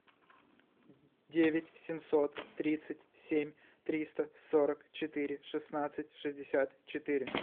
девять семьсот тридцать семь триста сорок четыре шестнадцать шестьдесят четыре